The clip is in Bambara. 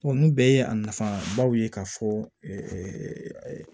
ninnu bɛɛ ye a nafabaw ye k'a fɔ